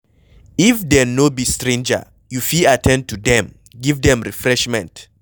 If dem no be stranger, you fit at ten d to dem, give dem refreshment